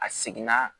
A seginna